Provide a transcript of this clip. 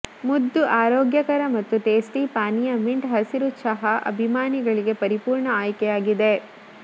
ಮುದ್ದು ಆರೋಗ್ಯಕರ ಮತ್ತು ಟೇಸ್ಟಿ ಪಾನೀಯ ಮಿಂಟ್ ಹಸಿರು ಚಹಾ ಅಭಿಮಾನಿಗಳಿಗೆ ಪರಿಪೂರ್ಣ ಆಯ್ಕೆಯಾಗಿದೆ